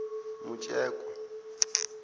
mutshekwa